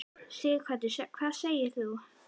Sighvatur: Hvað segir þú?